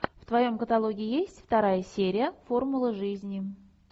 в твоем каталоге есть вторая серия формулы жизни